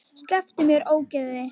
Slepptu mér, ógeðið þitt!